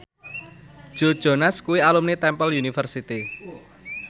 Joe Jonas kuwi alumni Temple University